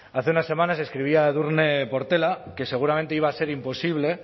hace unas semanas escribía edurne portela que seguramente iba a ser imposible